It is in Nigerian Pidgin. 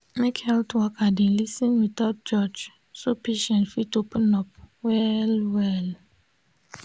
make health worker dey lis ten without judge so patient fit open up well. well.